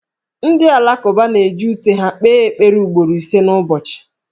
Ndị Alakụba na-eji ute ha kpee ekpere ugboro ise n'ụbọchị.